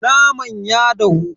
Naman ya dahu.